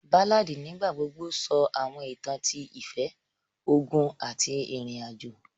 Báládì nígbà gbogbo sọ àwọn ìtàn ti ìfẹ́, ogun àti ìrìnàjò